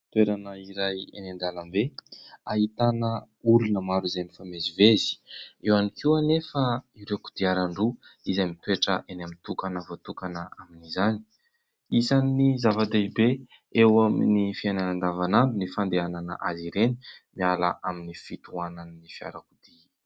Toerana iray eny an-dalambe ahitana olona mifamezivezy ; eo ihany koa anefa ireo kodiaran-droa izay mitoetra eny amin'ny toerana voatokana amin'izany. Isany zava-dehibe eo amin'ny fiainana andavanandro ny fandehanana azy ireny miala amin'ny fitohanan'ny fiarakodia.